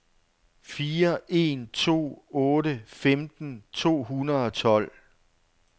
fire en to otte femten to hundrede og tolv